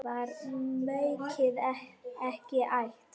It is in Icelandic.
Var maukið ekki ætt?